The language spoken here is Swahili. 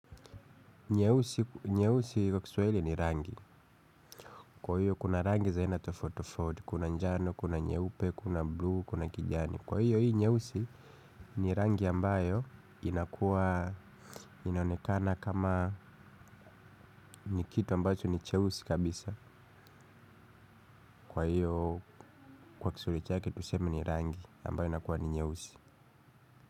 Nyeusi kwa Kiswahili ni rangi. Kwa hiyo kuna rangi za aina tofauti tofauti. Kuna njano, kuna nyeupe, kuna buluu, kuna kijani. Kwa hiyo hii nyeusi ni rangi ambayo inaonekana kama kitu ambacho ni cheusi kabisa. Kwa hiyo kwa Kiswahili chake tunasema ni rangi ambayo inakuwa nyeusi.